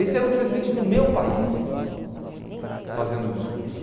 Esse era o presidente do meu país fazendo o discurso.